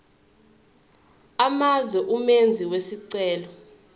amazwe umenzi wesicelo